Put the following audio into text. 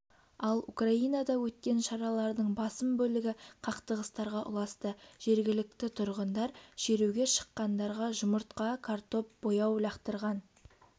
ал украинада өткен шаралардың басым бөлігі қақтығыстарға ұласты жергілікті тұрғындар шеруге шыққандарға жұмыртқа картоп бояу лақтырған